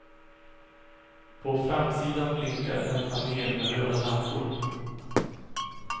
På framsidan blinkar en panel med röda lampor.